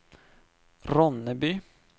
Ronneby